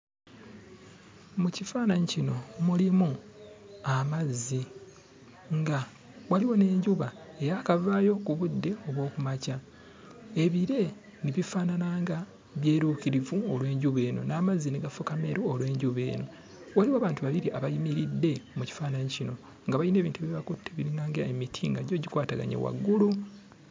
Mu kifaananyi kino mulimu amazzi nga waliwo n'enjuba eyaakavaayo ku budde obw'oku makya. Ebire ne bifaanana nga byeruukirivu olw'enjuba eno n'amazzi ne gafuuka meeru olw'enjuba eno. Waliwo abantu babiri abayimiridde mu kifaananyi kino nga bayina ebintu bye bakutte ebiringa ng'emiti nga gyo gikwataganye waggulu.